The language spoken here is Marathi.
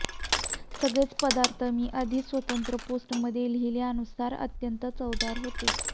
सगळेच पदार्थ मी आधी स्वतंत्र पोस्टमधे लिहिल्यानुसार अत्यंत चवदार होते